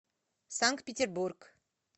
санкт петербург